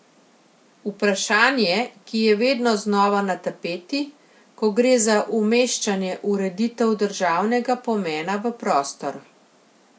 Vprašanje, ki je vedno znova na tapeti, ko gre za umeščanje ureditev državnega pomena v prostor.